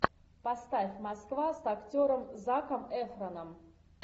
поставь москва с актером заком эфроном